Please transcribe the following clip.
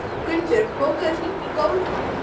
Gunnbjörg, bókaðu hring í golf á miðvikudaginn.